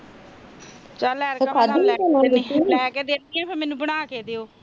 ਚੱਲ ਲੈਕੇ ਦਿੰਦੀ ਆ ਮੈਨੂੰ ਬਣਾ ਕੇ ਦੇ